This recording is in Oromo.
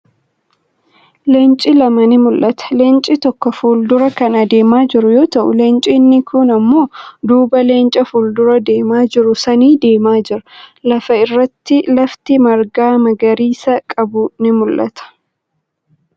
Leenci lama ni mul'atu. Leenci tokko fuuldura kan deemaa jiru yoo ta'u, Leenci inni kuun immoo duuba Leenca fuuldura deemaa jiru sanii deemaa jira. Lafa irratti lafti marga magariisa qabdu ni mul'atti.